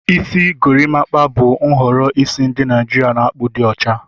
Isi gorimakpa bụ nhọrọ isi ndị Naijiria na-akpụ di ocha.